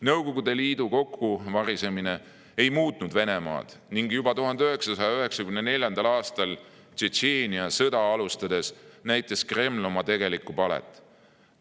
Nõukogude Liidu kokkuvarisemine ei muutnud Venemaad ning juba 1994. aastal Tšetšeenia sõda alustades näitas Kreml oma tegelikku palet.